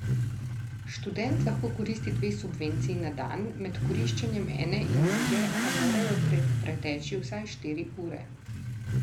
Študent lahko koristi dve subvenciji na dan, med koriščenjem ene in druge pa morajo preteči vsaj štiri ure.